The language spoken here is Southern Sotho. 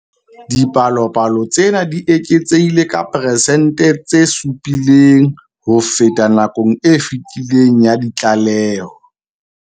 Dipalopalo tsena di eketsehile ka 7 percent ho feta nakong e fetileng ya ditlaleho.